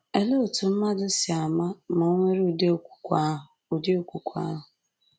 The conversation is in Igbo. Olee otú mmadụ sị ama ma ò nwere ụdị okwukwe ahụ? ụdị okwukwe ahụ?